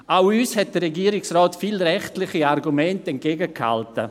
Auch uns hat der Regierungsrat viele rechtliche Argumente entgegengehalten.